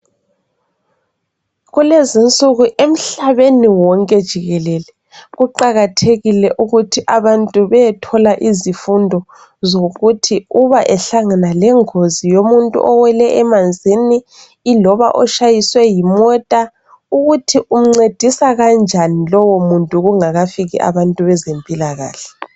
Kulezinsuku emhlabeni wonke jikelele kuqakathekile ukuthi abantu beyethola izifundo zokuthi uba ehlangana lengozi yomuntu owele emanzini iloba otshaywe yimota ukuthi umncedisa kanjani lowomuntu kungakafiki abantu bezempilakahle.